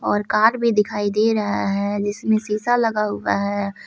और कार भी दिखाई दे रहा है जिसमें शीशा लगा हुआ है।